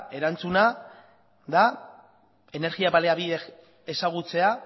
erantzuna da energia baliabideak ezagutzea